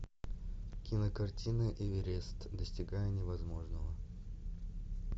кинокартина эверест достигая невозможного